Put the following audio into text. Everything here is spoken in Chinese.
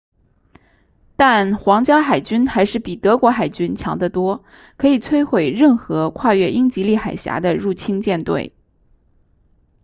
但皇家海军还是比德国海军 kriegsmarine” 强得多可以摧毁任何跨越英吉利海峡的入侵舰队